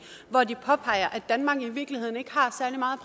hvor de påpeger at danmark i virkeligheden ikke har særlig meget